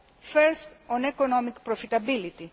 First, on economic profitability.